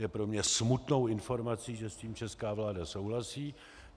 Je pro mě smutnou informací, že s tím česká vláda souhlasí.